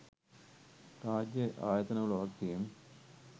රාජ්‍ය ආයතන වල වගකීම්